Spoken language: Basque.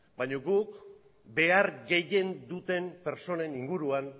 baina guk behar gehien duten pertsonen inguruan